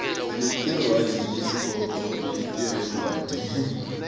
sinetircwadzitesikoko letirelwati